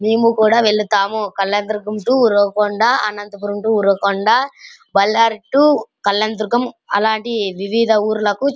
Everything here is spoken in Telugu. మేము కూడా వెళ్తాము Kalyandurg to Uravakonda Anantapur to Uravakonda Ballari to Kalyandurg అలాంటి వివిధ ఊరులకు --